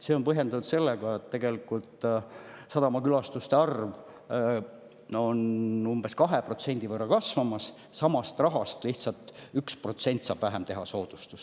See on põhjendatud sellega, et tegelikult sadamakülastuste arv on umbes 2% võrra kasvamas ja sama raha korral lihtsalt saab 1% võrra vähem teha soodustust.